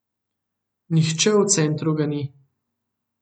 Nihče v centru ga ni.